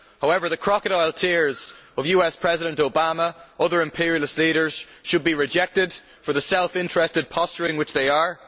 However, the crocodile tears of US President Obama and other imperialist leaders should be rejected for the self interested posturing which they are.